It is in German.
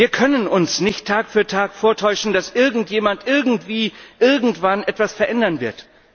Wir können uns nicht Tag für Tag vortäuschen, dass irgendjemand irgendwie irgendwann etwas verändern wird.